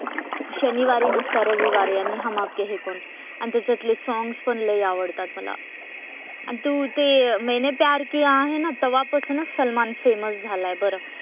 शनिवारी नसतं रविवारी आणि हम आपके हैं कौन आणि त्याच्यातले सॉंग्स पण लय आवडतात मला. आणि तू ते मैंने प्यार किया आहे ना तवापासूनच सलमान फेमस झालाय बरं.